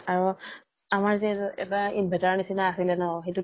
আৰু । আমাৰ যে এটা inverter ৰ নিছিনা আছিলে ন ?